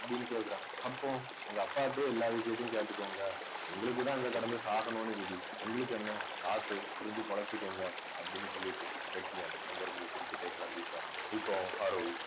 அப்படின்னு கேட்கிறான் அப்போ உங்க அப்பாகிட்டயே எல்லா விஷயத்தையும் கேட்டுக்கோங்க எங்களுக்கு தான் அங்க கடந்து சாகணும்னு விதி உங்களுக்கு என்ன பாத்து புரிஞ்சு பொழச்சுக்கோங்க அப்படீன்னு சொல்லிட்டு வெட்டியான் அங்க இருந்து சிரிச்சுட்டே கிளம்பி போறான் இப்போ அருள்